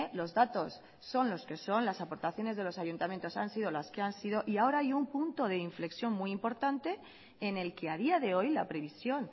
los datos son los que son las aportaciones de los ayuntamientos han sido las que han sido y ahora hay un punto de inflexión muy importante en el que a día de hoy la previsión